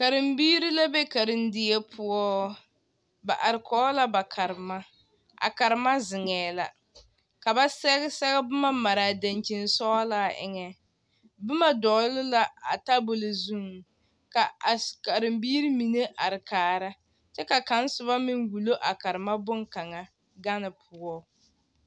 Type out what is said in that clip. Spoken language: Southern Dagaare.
Karembiiri la be karendie poɔ ba arekɔɡe la ba karema a karema zeŋɛɛ la ka ba sɛɡe seɡɛ boma mare a daŋkyini sɔɡelaa eŋɛ boma dɔɡele la a tabuli zuiŋ ka a karembiiri mine are kaara kyɛ ka kaŋa soba meŋ wulo a karema bone kaŋa ɡane poɔ.